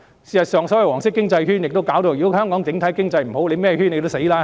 事實上，所謂黃色經濟圈，如果香港整體經濟差，甚麼圈也會失敗。